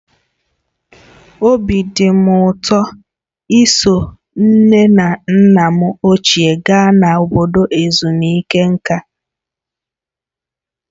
Obi dị m ụtọ iso nne na nna m ochie gaa na obodo ezumike nka.